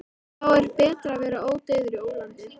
Þá er betra að vera ódauður í ólandi.